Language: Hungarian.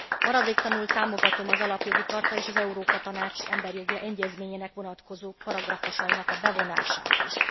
Maradéktalanul támogatom az Alapjogi Charta és az Európa Tanács Emberi Jogi Egyezményének vonatkozó paragrafusainak a bevonását is.